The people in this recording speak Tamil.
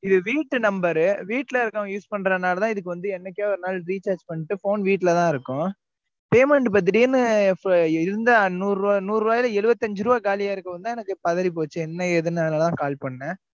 இது வீட்டு number வீட்டுல இருக்குறவங்க use பண்றதுனாலதான், இதுக்கு வந்து, என்னைக்கோ ஒரு நாள், recharge பண்ணிட்டு, phone வீட்டுலதான் இருக்கும். payment இப்ப திடீர்ன்னு, இப்ப இருந்தா, நூறு ரூபாய், நூறு ரூபாய்ல, எழுபத்தி அஞ்சு ரூபாய் காலியா இருக்கும்னுதான், எனக்கு பதறிப்போச்சு. என்ன? ஏதுனாலதான், call பண்ணேன்